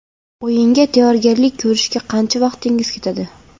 O‘yinga tayyorgarlik ko‘rishga qancha vaqtingiz ketadi?